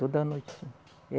Toda noite, sim.